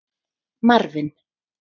Marvin